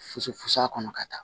Fusu fusa kɔnɔ ka taa